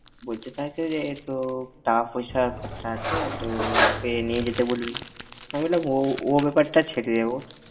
বলতে চাইছে যে, তো টাকাপয়সার খরচা আছে তো, ওকে নিয়ে যেতে বলবি। আমি বললাম ওঁ~ ওর বেপার টা ছেড়ে দে।